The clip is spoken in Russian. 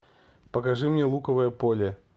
покажи мне луковое поле